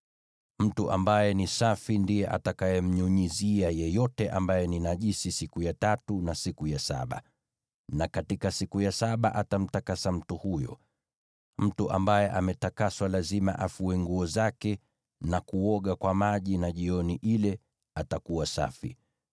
Mtu ambaye ni safi ndiye atakayemnyunyizia yeyote ambaye ni najisi siku ya tatu na siku ya saba, na katika siku ya saba atamtakasa mtu huyo. Mtu ambaye ametakaswa lazima afue nguo zake na kuoga kwa maji, na jioni ile atakuwa safi.